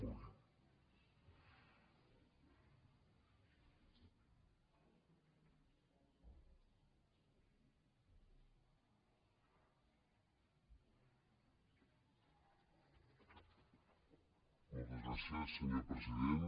moltes gràcies senyor president